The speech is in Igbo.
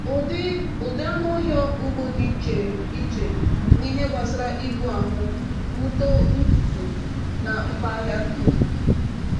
“Ụdị “Ụdị anụ ọhịa ugbo dị iche iche n’ihe gbasara ibu ahụ, uto ntutu, na mkpa ahịa dum.